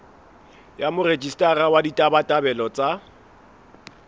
ya morejistara wa ditabatabelo tsa